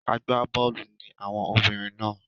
Agbá bọ́ọ̀lù ni àwọn obìnrin náà.